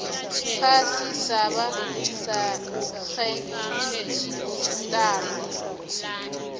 phasi sabe sarejistarwa